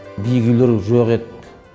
биік үйлер жоқ еді